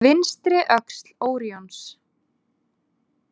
Vinstri „öxl“ Óríons.